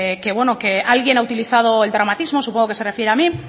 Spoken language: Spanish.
que alguien ha utilizado el dramatismo supongo que se refiere a mí